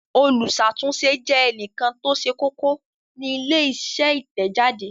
Olùṣàtúnṣe jẹ́ ènìyàn tó ṣe kókó ní ilé-iṣẹ́ Ìtẹ̀jáde.